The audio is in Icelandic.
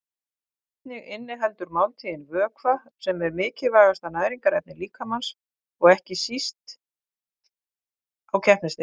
Einnig inniheldur máltíðin vökva sem er mikilvægasta næringarefni líkamans og ekki hvað síst á keppnisdegi.